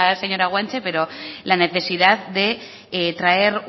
señora guanche pero la necesidad de traer